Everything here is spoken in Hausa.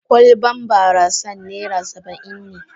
Kwalban barasan naira Saba'in ne.